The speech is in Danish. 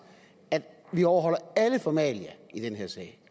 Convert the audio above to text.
at vi overholder alle formalia i den her sag